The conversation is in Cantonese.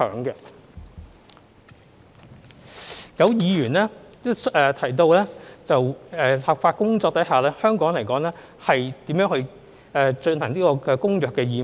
有議員提及在立法工作前，香港如何履行《公約》的義務。